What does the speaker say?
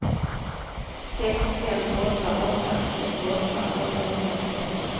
sex fem åtta åtta trettioåtta åttahundratretton